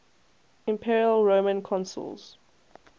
imperial roman consuls